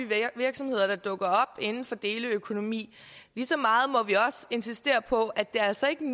virksomheder der dukker inden for deleøkonomi lige så meget må vi også insistere på at det altså ikke